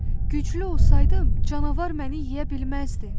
Güclü olsaydım, canavar məni yeyə bilməzdi.